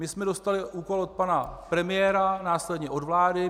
My jsme dostali úkol od pana premiéra, následně od vlády.